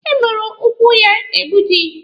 E gbujiri ụkwụ ya egbuji.